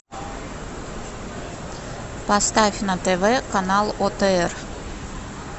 поставь на тв канал отр